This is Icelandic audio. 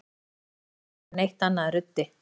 Þú ert ruddi og verður aldrei neitt annað en ruddi.